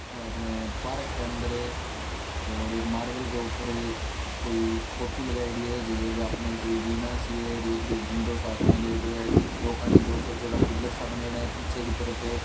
अपने पार्क के अंदर और एक मार्बल के ऊपर कोई फोटू लगाएड़ी है जकी के हाथ में एक वीणा सी है और एक डंडो सो हाथ में लियोडो है दो कानि दो छोटा छोटा पिलर सा बनेड़ा है पीछे की तरफे।